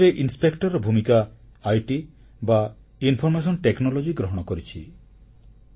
GSTରେ ଇନସ୍ପେକ୍ଟରର ଭୂମିକା ସୂଚନା ପ୍ରଯୁକ୍ତିସେବା ଗ୍ରହଣ କରିଛି